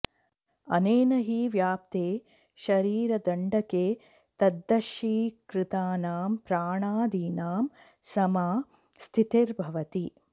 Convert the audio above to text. अनेन हि व्याप्ते शरीरदण्डके तद्वशीकृतानां प्राणादीनां समा स्थितिर्भवति